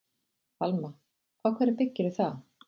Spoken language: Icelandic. Alma: Á hverju byggirðu það?